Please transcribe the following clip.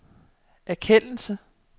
erkendelse